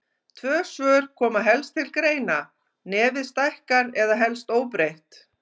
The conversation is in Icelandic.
Tvö svör koma helst til greina: Nefið stækkar eða helst óbreytt.